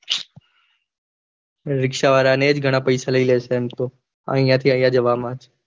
રીક્ષા વાળા ને જ ઘણા પૈસા લઇ લે છે આઇયા થી આઇયા જવામાં